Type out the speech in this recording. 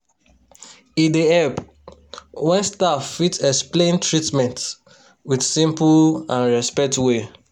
e dey help wen staff fit explain treatments wit simple and respect way.